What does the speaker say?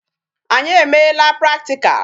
Anyị emeela practical.